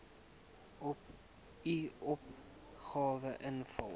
u opgawe invul